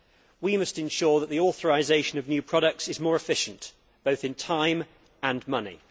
We must ensure that the authorisation of new products is more efficient, both in time and money.